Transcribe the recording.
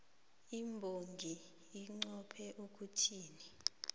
imbongi inqophe ukuthini